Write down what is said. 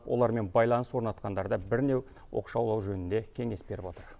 олармен байланыс орнатқандарды бірнеу оқшаулау жөнінде кеңес беріп отыр